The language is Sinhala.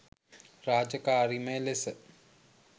රාජකාරිමය ලෙස